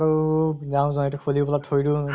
আৰু যাওঁ যাওঁ এইটো খুলি ফালে থৈ দিওঁ